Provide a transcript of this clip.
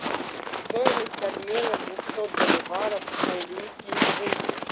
стоимость обмена двухсот боливаров в английские фунты